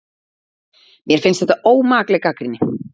Mér finnst þetta ómakleg gagnrýni